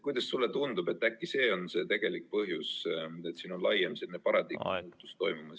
Kuidas sulle tundub, äkki see on tegelik põhjus, et siin on selline laiem paradigma muutus toimumas?